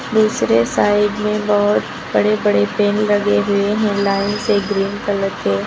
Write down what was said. दूसरे साइड में बहोत बड़े बड़े पेड़ लगे हुए हैं लाइन से ग्रीन कलर के।